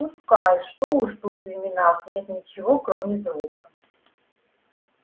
пускай что уж тут в именах нет ничего кроме звука